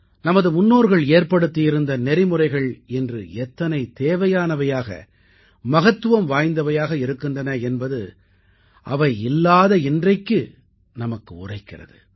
நமது முன்னோர்கள் ஏற்படுத்தியிருந்த நெறிமுறைகள் இன்று எத்தனை தேவையானவையாக மகத்துவம் வாய்ந்தவையாக இருக்கின்றன என்பது அவை இல்லாத இன்றைக்கு நமக்கு உரைக்கிறது